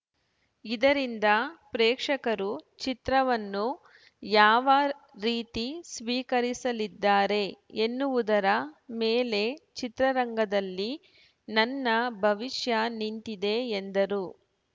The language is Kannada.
ಇದರಿಂದ ಪ್ರೇಕ್ಷಕರು ಚಿತ್ರವನ್ನು ಯಾವ ರೀತಿ ಸ್ವೀಕರಿಸಲಿದ್ದಾರೆ ಎನ್ನುವುದರ ಮೇಲೆ ಚಿತ್ರರಂಗದಲ್ಲಿ ನನ್ನ ಭವಿಷ್ಯ ನಿಂತಿದೆ ಎಂದರು